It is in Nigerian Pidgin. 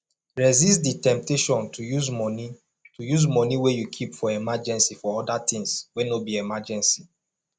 resist di temptation to use money to use money wey you keep for emergency for oda things wey no be emergency